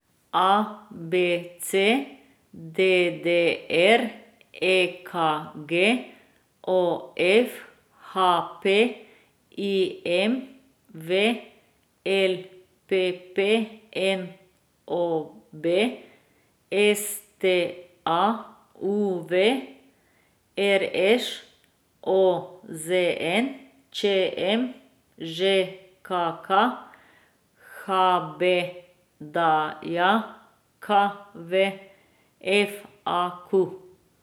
A B C; D D R; E K G; O F; H P; I M V; L P P; N O B; S T A; U V; R Š; O Z N; Č M; Ž K K; H B D J K V; F A Q.